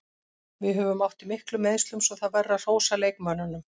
Við höfum átt í miklum meiðslum svo það verður að hrósa leikmönnunum.